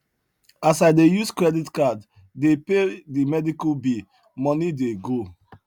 as i dey use credit card dey pay the medical bill money dey go